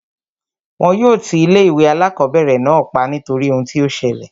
Wọn yóò ti ilé ìwé alákọ̀berẹ̀ náà pa nítorí ohun tí o ṣẹlẹ̀.